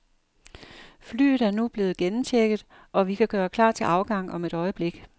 Flyet er nu blevet gennemchecket, og vi kan gøre klar til afgang om et øjeblik.